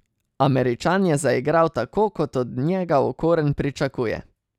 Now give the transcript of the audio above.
Američan je zaigral tako, kot od njega Okorn pričakuje.